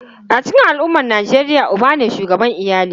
A cikin al’ummar Nijeriya, uba ne shugaban iyali.